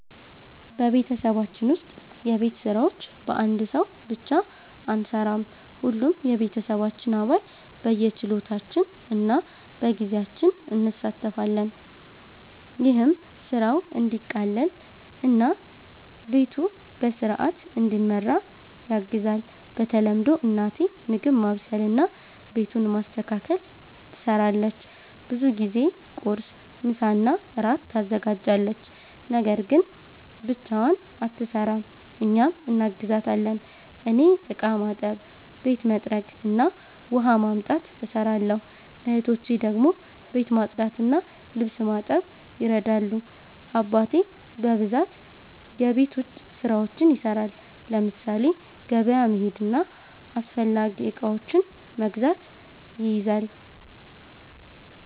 በቤተሰባችን ውስጥ የቤት ስራዎች በአንድ ሰው ብቻ አንሠራም። ሁሉም የቤተሰባችን አባል በየችሎታችን እና በጊዜያችን እንሣተፋለን። ይህም ስራው እንዲቀላቀል እና ቤቱ በሥርዓት እንዲመራ ያግዛል። በተለምዶ እናቴ ምግብ ማብሰልና ቤቱን ማስተካከል ትሰራለች። ብዙ ጊዜ ቁርስ፣ ምሳና እራት ታዘጋጃለች። ነገር ግን ብቻዋን አትሰራም፤ እኛም እናግዛታለን። እኔ እቃ ማጠብ፣ ቤት መጥረግ እና ውሃ ማምጣት እሰራለሁ። እህቶቼ ደግሞ ቤት ማጽዳትና ልብስ ማጠብ ይረዳሉ። አባቴ በብዛት የቤት ውጭ ስራዎችን ይሰራል፤ ለምሳሌ ገበያ መሄድና አስፈላጊ እቃዎችን መግዛት ይይዛል።